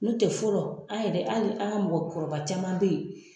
N'o tɛ fɔlɔ a yɛrɛ a yɛrɛ a ka mɔgɔ kɔrɔba caman bɛ ye.